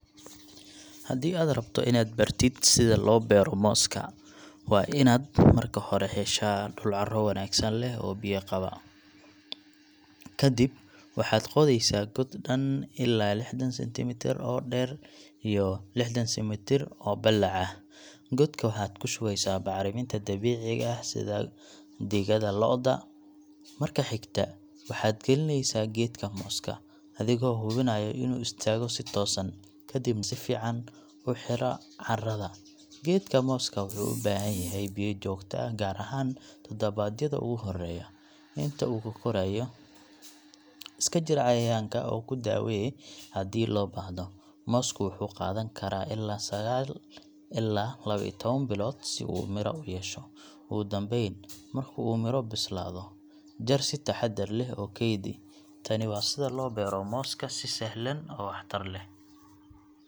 Haddii aad rabto inaad baratid sida loo beero mooska, waa inaad marka hore heshaa dhul carro wanaagsan leh oo biyo qaba. Ka dib waxaad qodaysaa god dhan ilaa lixdan centimetre oo dheer iyo lixdan centimetre oo ballac ah. Godka waxaad ku shubaysaa bacriminta dabiiciga ah sida digada lo’da. Marka xigta waxaad gelinaysaa geedka mooska, adigoo hubinaya inuu istaago si toosan, kadibna si fiican u xira carrada. Geedka mooska wuxuu u baahan yahay biyo joogto ah, gaar ahaan todobaadyada ugu horreeya. Inta uu ka korayo, iska jir cayayaanka oo ku daawee haddii loo baahdo. Moosku wuxuu qaadan karaa ilaa sagaal ilaa lawa iyo tawan bilood si uu mira u yeesho. Ugu dambayn, marka uu miro bislaado, jar si taxaddar leh oo kaydi. Tani waa sida loo beero mooska si sahlan oo waxtar leh.